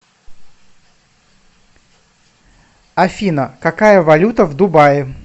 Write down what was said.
афина какая валюта в дубае